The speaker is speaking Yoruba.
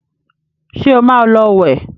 ṣe ọ má ló wẹ